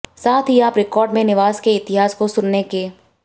साथ ही आप रिकॉर्ड में निवास के इतिहास को सुनने के